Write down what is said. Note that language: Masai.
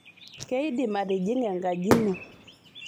keidim atijing'a enkaji ino